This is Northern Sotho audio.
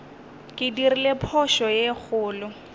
ke dirile phošo ye kgolo